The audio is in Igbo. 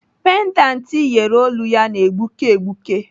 Pendant iyeri olu ya na-egbuke egbuke.